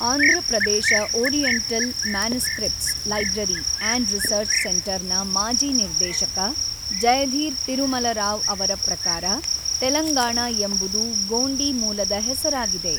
Andhra Pradesh oriental manuscripts library and research ಸೆಂಟರ್‌ನ ಮಾಜಿ ನಿರ್ದೇಶಕ ಜಯಧಿರ್ ತಿರುಮಲ ರಾವ್ ಅವರ ಪ್ರಕಾರ, ತೆಲಂಗಾಣ ಎಂಬುದು ಗೋಂಡಿ ಮೂಲದ ಹೆಸರಾಗಿದೆ.